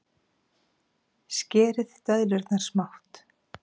Skerið döðlurnar smátt.